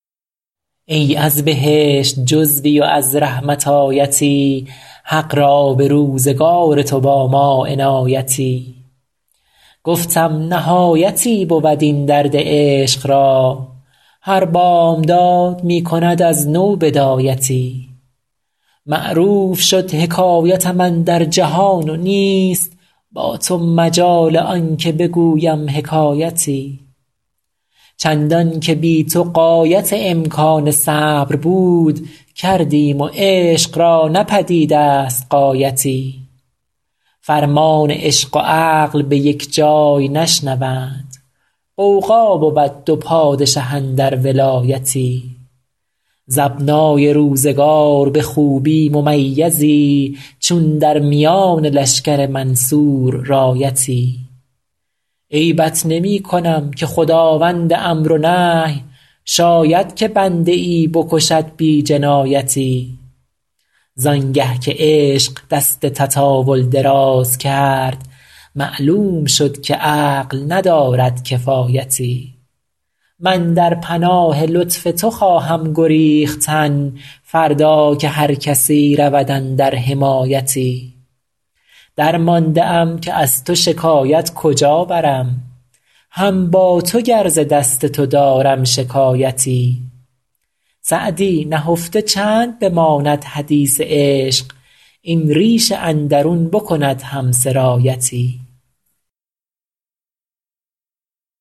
ای از بهشت جزوی و از رحمت آیتی حق را به روزگار تو با ما عنایتی گفتم نهایتی بود این درد عشق را هر بامداد می کند از نو بدایتی معروف شد حکایتم اندر جهان و نیست با تو مجال آن که بگویم حکایتی چندان که بی تو غایت امکان صبر بود کردیم و عشق را نه پدید است غایتی فرمان عشق و عقل به یک جای نشنوند غوغا بود دو پادشه اندر ولایتی ز ابنای روزگار به خوبی ممیزی چون در میان لشکر منصور رایتی عیبت نمی کنم که خداوند امر و نهی شاید که بنده ای بکشد بی جنایتی زان گه که عشق دست تطاول دراز کرد معلوم شد که عقل ندارد کفایتی من در پناه لطف تو خواهم گریختن فردا که هر کسی رود اندر حمایتی درمانده ام که از تو شکایت کجا برم هم با تو گر ز دست تو دارم شکایتی سعدی نهفته چند بماند حدیث عشق این ریش اندرون بکند هم سرایتی